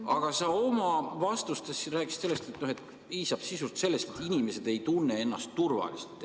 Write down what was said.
" Aga oma vastustes sa rääkisid, et piisab sisuliselt sellest, kui inimesed ei tunne ennast enam turvaliselt.